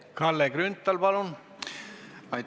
Kalle Grünthal, palun!